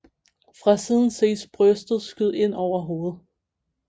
Fra siden ses brystet skyde ind over hovedet